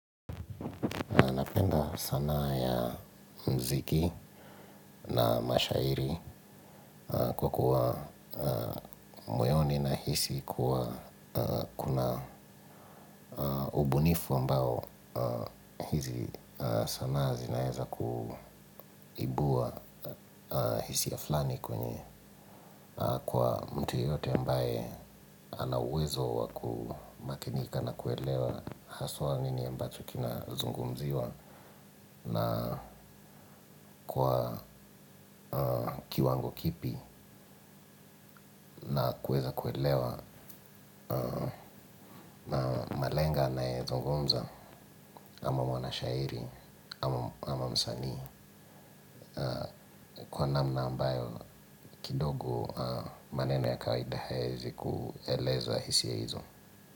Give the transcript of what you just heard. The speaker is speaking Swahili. Sana ya mziki na mashairi kwa kuwa moyoni nahisi kuwa kuna ubunifu ambao hizi sana zinaeza kuibua hisiya flani kwenye kwa mtu yoyote ambae ana uwezo wa kumakinika na kuelewa haswa nini ambacho kina zungumziwa na kuwa kiwango kipi na kuweza kuelewa malengo anayezungumza ama mwanashairi ama msanii kwa namna ambayo kidogo maneno ya kawaida hayawezi kueleza hisia hizo.